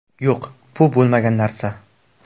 Yo‘q, bu bo‘lmagan narsa.